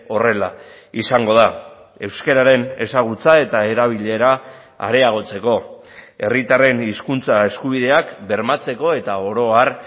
horrela izango da euskararen ezagutza eta erabilera areagotzeko herritarren hizkuntza eskubideak bermatzeko eta orohar